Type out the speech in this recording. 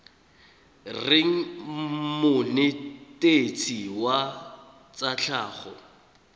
reng monetetshi wa tsa tlhago